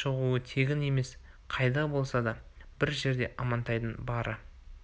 шығуы тегін емес қайда болса да бір жерде амантайдың бары